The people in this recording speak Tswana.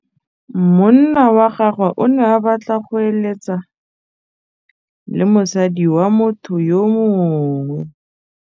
Monna wa gagwe o ne a batla go êlêtsa le mosadi wa motho yo mongwe.